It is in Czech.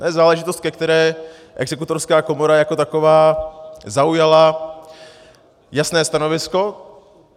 To je záležitost, ke které exekutorská komora jako taková zaujala jasné stanovisko.